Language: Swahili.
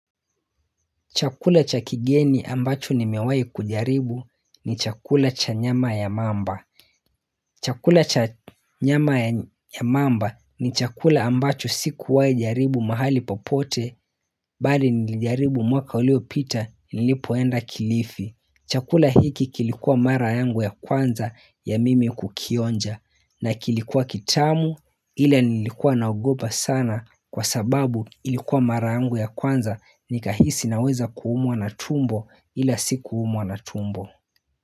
Chakula cha kigeni ambacho nimewahi kujaribu ni chakula cha nyama ya mamba. Chakula cha nyama ya mamba ni chakula ambacho sikuwahi jaribu mahali popote mbali nilijaribu mwaka uliopita nilipoenda kilifi. Chakula hiki kilikuwa mara yangu ya kwanza ya mimi kukionja na kilikuwa kitamu ila nilikuwa na ogopa sana kwa sababu ilikuwa mara yangu ya kwanza nikahisi naweza kuumwa na tumbo ila sikuumwa na tumbo.